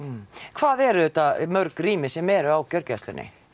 hvað eru þetta mörg rými sem eru á gjörgæslunni